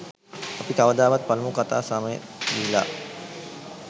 අපි කවදාවත් පළමු කතා සමය දීලා